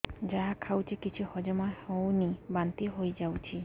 ଯାହା ଖାଉଛି କିଛି ହଜମ ହେଉନି ବାନ୍ତି ହୋଇଯାଉଛି